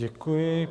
Děkuji.